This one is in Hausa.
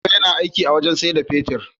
Bello yAna aiki a wajan siyar da fetir